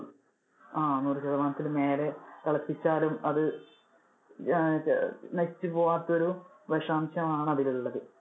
അഹ് നൂറു ശിതമാനത്തിനു മേലെ തിളപ്പിച്ചാലും അത് അഹ് അത് നശിച്ചു പോകാത്ത ഒരു വിഷാംശം ആണ് അതിൽ ഉള്ളത്.